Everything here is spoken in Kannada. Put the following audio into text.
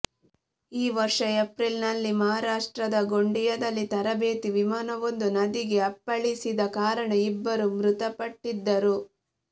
ಈ ವರ್ಷ ಏಪ್ರಿಲ್ನಲ್ಲಿ ಮಹಾರಾಷ್ಟ್ರದ ಗೊಂಡಿಯಾದಲ್ಲಿ ತರಬೇತಿ ವಿಮಾನವೊಂದು ನದಿಗೆ ಅಪ್ಪಳಿಸಿದ ಕಾರಣ ಇಬ್ಬರು ಮೃತಪಟ್ಟಿದ್ದರು